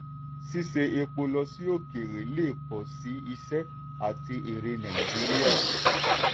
ṣíṣe epo lọ sí òkèèrè lè pọ̀ sí iṣẹ́ àti èrè nàìjíríà.